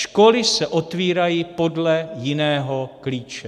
Školy se otvírají podle jiného klíče.